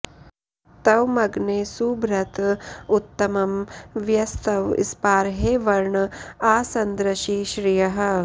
त्वमग्ने सुभृत उत्तमं वयस्तव स्पार्हे वर्ण आ संदृशि श्रियः